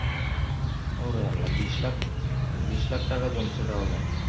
ওরে আল্লাহ বিষ লক্ষ বিষ লাখ টাকা জমতেছে